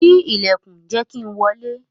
Ṣii ilẹkun, jẹ ki n wọle!